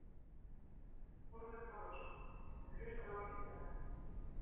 Þórður Þórðarson: Og hlusta á vísindamenn?